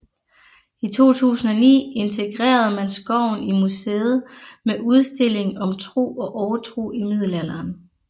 I 2009 integrerede man skoven i museet med en udstilling om tro og overtro i Middelalderen